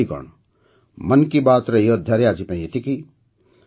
ସାଥିଗଣ ମନ୍ କି ବାତ୍ର ଏହି ଅଧ୍ୟାୟରେ ଆଜିପାଇଁ ଏତିକି